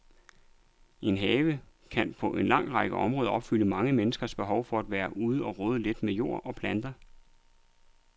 En have kan på en lang række områder opfylde mange menneskers behov for at være ude og rode lidt med jord og planter.